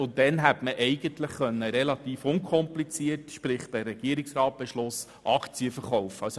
Bis dahin hätte man relativ unkompliziert per Regierungsratsbeschluss Aktien verkaufen können.